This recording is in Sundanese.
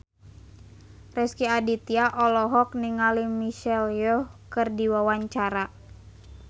Rezky Aditya olohok ningali Michelle Yeoh keur diwawancara